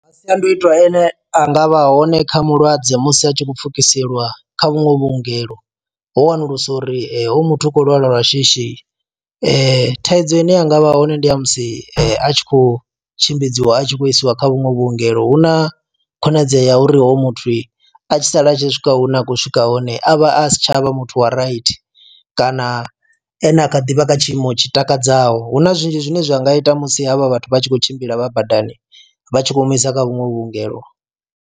Masiandoitwa ane anga vha hone kha mulwadze musi a tshi khou pfhukiseliwa kha vhunwe vhuongelo ho wanulusa uri hoyu muthu u khou lwala lwa shishi, thaidzo ine yanga vha hone ndi ya musi a tshi khou tshimbidziwa a tshi khou isiwa kha vhunwe vhuongelo hu na khonadzeo ya uri hoyu muthu a tshi sala a tshi swika hune a khou swika hone a vha a si tshavha muthu wa right, kana ane a kha ḓi vha kha tshiimo tshi takadzaho huna zwinzhi zwine zwa nga ita musi havha vhathu vha tshi khou tshimbila vha badani vha tshi khou mu isa kha vhunwe vhuongelo.